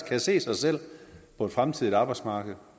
kan se sig selv på et fremtidigt arbejdsmarked